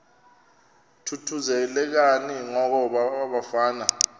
thuthuzelekani ngoko bafazana